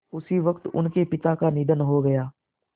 उसी वक़्त उनके पिता का निधन हो गया